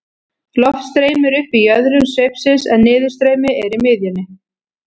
Loft streymir upp í jöðrum sveipsins en niðurstreymi er í miðjunni.